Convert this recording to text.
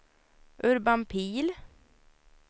Urban Pihl